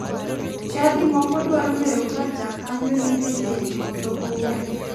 Chadi moko dwaro ng'eyo ka jakanyo ni e keny koso ooyo.